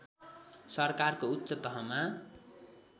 सरकारको उच्च तहमा